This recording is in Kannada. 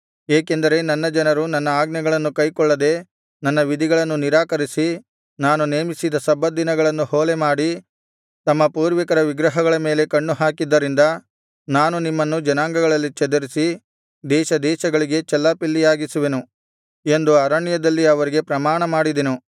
ಏಕೆಂದರೆ ನನ್ನ ಜನರು ನನ್ನ ಆಜ್ಞೆಗಳನ್ನು ಕೈಕೊಳ್ಳದೆ ನನ್ನ ವಿಧಿಗಳನ್ನು ನಿರಾಕರಿಸಿ ನಾನು ನೇಮಿಸಿದ ಸಬ್ಬತ್ ದಿನಗಳನ್ನು ಹೊಲೆಮಾಡಿ ತಮ್ಮ ಪೂರ್ವಿಕರ ವಿಗ್ರಹಗಳ ಮೇಲೆ ಕಣ್ಣುಹಾಕಿದ್ದರಿಂದ ನಾನು ನಿಮ್ಮನ್ನು ಜನಾಂಗಗಳಲ್ಲಿ ಚದರಿಸಿ ದೇಶ ದೇಶಗಳಿಗೆ ಚೆಲ್ಲಾಪಿಲ್ಲಿಯಾಗಿಸುವೆನು ಎಂದು ಅರಣ್ಯದಲ್ಲಿ ಅವರಿಗೆ ಪ್ರಮಾಣಮಾಡಿದೆನು